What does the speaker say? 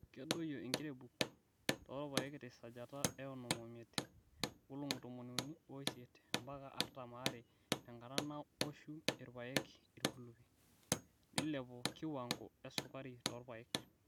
Kedoyio enkirebuk toorpaek te sajata eonom omiet (nkolong'I tomoni uni oisiet mpaka artam aare tenkata naoshu irpaek irkulupi),neilepu kiwango esukari torpaek.